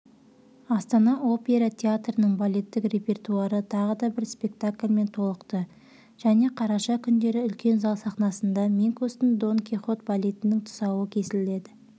астана опера театрының балеттік репертуары тағы бір спектакльмен толықты және қараша күндері үлкен зал сахнасында минкустың дон кихот балетінің тұсауы кесіледі